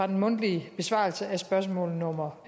den mundtlige besvarelse af spørgsmål nummer